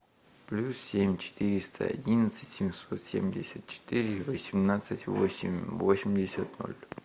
плюс семь четыреста одинадцать семьсот семьдесят четыре восемнадцать восемь восемьдесят ноль